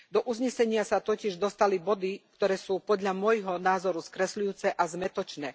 Do uznesenia sa totiž dostali body, ktoré sú podľa môjho názoru skresľujúce a zmätočné.